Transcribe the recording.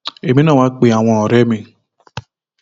èmi náà wàá pe àwọn ọrẹ mi